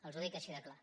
els ho dic així de clar